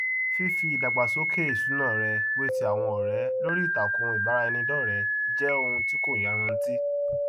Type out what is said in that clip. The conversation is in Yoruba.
fífi ìdàgbàsókè ìṣúná rẹ wé ti àwọn ọrẹ lórí ìtàkùn ìbaràẹnidọrẹẹ jẹ ohun tí kò yanrantí